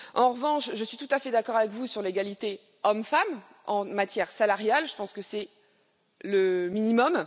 En revanche, je suis tout à fait d'accord avec vous sur l'égalité hommes femmes en matière salariale, je pense que c'est le minimum.